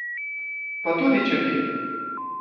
Pa tudi če bi!